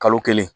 Kalo kelen